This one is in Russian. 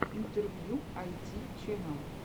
интервью айти чэнэл